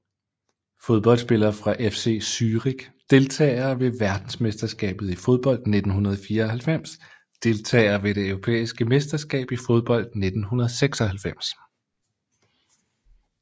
Fodboldspillere fra FC Zürich Deltagere ved verdensmesterskabet i fodbold 1994 Deltagere ved det europæiske mesterskab i fodbold 1996